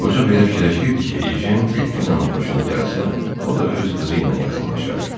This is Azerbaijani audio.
Qoca belə fikirləşirdi ki, Ejen Delfinanın xoşuna gəlsə, o da öz qızı ilə yaxınlaşar.